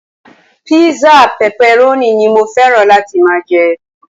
Písà pepperoni ni mo fẹ́ràn láti máa jẹ.